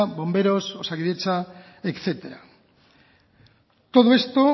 bomberos osakidetza etcétera todo esto